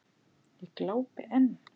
Ég glápi enn.